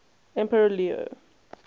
emperor leo